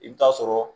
I bɛ taa sɔrɔ